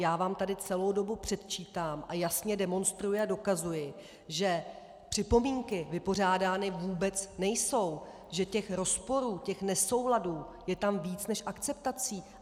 Já vám tady celou dobu předčítám a jasně demonstruji a dokazuji, že připomínky vypořádány vůbec nejsou, že těch rozporů, těch nesouladů je tam více než akceptací.